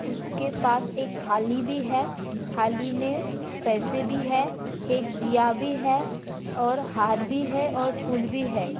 उसके पास एक थाली भी ह है थाली मे पैसे भी है एक दिया भी है और हर भी है और फूल भी है।